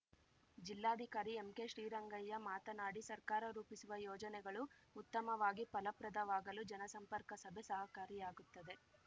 ಜಿಲ್ಲಾಧಿಕಾರಿ ಎಂಕೆಶ್ರೀರಂಗಯ್ಯ ಮಾತನಾಡಿ ಸರ್ಕಾರ ರೂಪಿಸುವ ಯೋಜನೆಗಳು ಉತ್ತಮವಾಗಿ ಫಲಪ್ರದವಾಗಲು ಜನಸಂಪರ್ಕ ಸಭೆ ಸಹಕಾರಿಯಾಗುತ್ತದೆ